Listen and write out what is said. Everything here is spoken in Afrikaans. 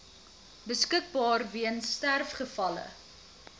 beskikbaar weens sterfgevalle